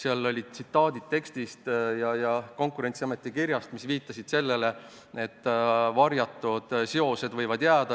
Esitasin tsitaadid Konkurentsiameti kirjast, mis viitasid sellele, et varjatud seosed võivad jääda.